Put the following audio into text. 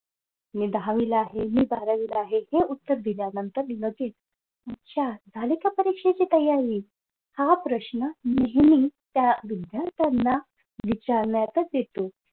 मी दहावीला आहे. मी बारावीला आहे. हे उत्तर दिल्यानंतर लगेच अच्छा झाली का परीक्षेची तयारी हा प्रश्न नेहमी त्या विद्यार्थ्यांना विचारण्यातच येतो.